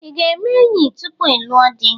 I ga-eme enyi tupu ịlụọ dị?